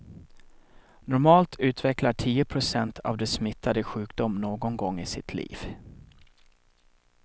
Normalt utvecklar tio procent av de smittade sjukdom någon gång i sitt liv.